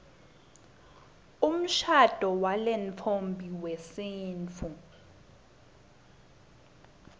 umshado walentfombi wesintfu